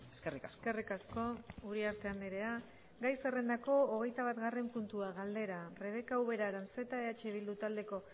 eskerrik asko eskerrik asko uriarte andrea gai zerrendako hogeita batgarren puntua galdera rebeka ubera aranzeta eh bildu taldeko